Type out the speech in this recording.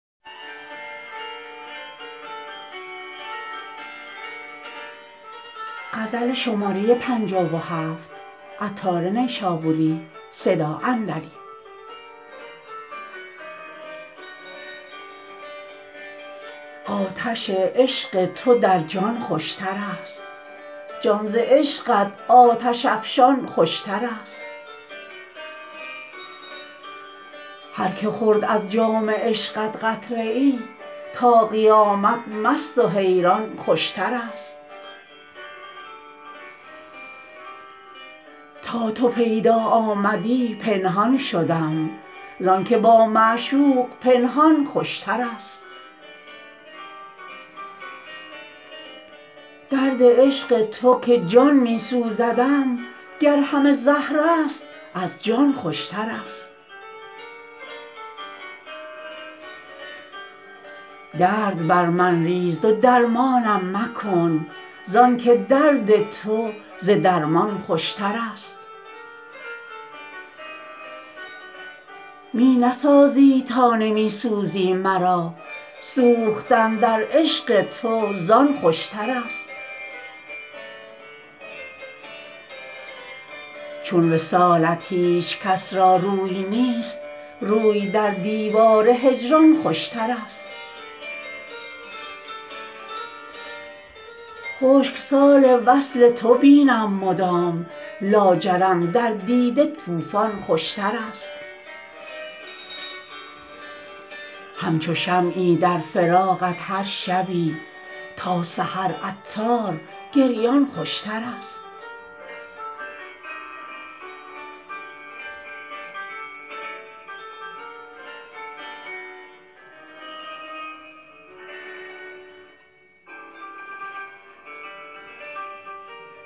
آتش عشق تو در جان خوشتر است جان ز عشقت آتش افشان خوشتر است هر که خورد از جام عشقت قطره ای تا قیامت مست و حیران خوشتر است تا تو پیدا آمدی پنهان شدم زانکه با معشوق پنهان خوشتر است درد عشق تو که جان می سوزدم گر همه زهر است از جان خوشتر است درد بر من ریز و درمانم مکن زانکه درد تو ز درمان خوشتر است می نسازی تا نمی سوزی مرا سوختن در عشق تو زان خوشتر است چون وصالت هیچکس را روی نیست روی در دیوار هجران خوشتر است خشک سال وصل تو بینم مدام لاجرم در دیده طوفان خوشتر است همچو شمعی در فراقت هر شبی تا سحر عطار گریان خوشتر است